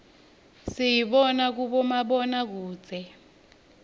siyibona kubomabonakudze